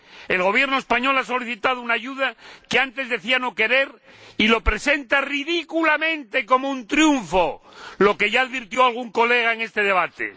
El Gobierno español ha solicitado una ayuda que antes decía no querer, y lo presentan ridículamente como un triunfo, lo que ya advirtió algún colega en este debate.